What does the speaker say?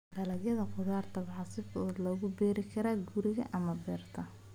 Dalagyada khudaarta waxaa si fudud loogu beeri karaa guriga ama beerta.